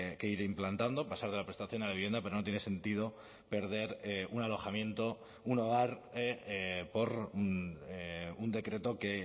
que ir implantando pasar de la prestación a la vivienda pero no tiene sentido perder un alojamiento un hogar por un decreto que